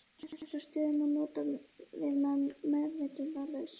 Þessa stöðu má nota við meðvitundarlausa.